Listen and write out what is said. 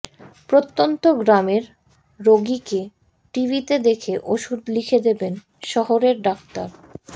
প্রত্যন্ত গ্রামের রোগীকে টিভিতে দেখে ওষুধ লিখে দেবেন শহরের ডাক্তার